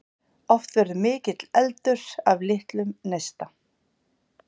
Oft verður mikill eldur af litlum neista.